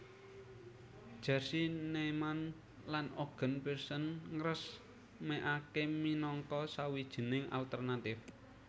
Jerzy Neyman lan Egon Pearson ngresmèkaké minangka sawijining alternatif